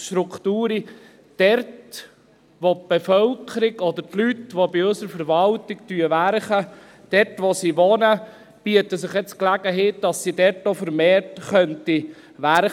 – Dort, wo die Bevölkerung oder die Leute, die bei unserer Verwaltung arbeiten, wohnen, bietet sich jetzt die Gelegenheit, dass sie dort auch vermehrt arbeiten könnten.